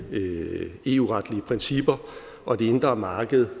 eu retlige principper og det indre marked